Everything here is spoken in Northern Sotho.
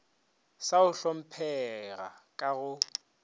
sa go hlomphega ka go